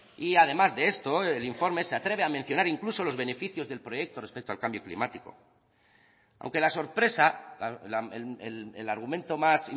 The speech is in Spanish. y además de esto el informe se atreve a mencionar incluso los beneficios del proyecto respecto al cambio climático aunque la sorpresa el argumento más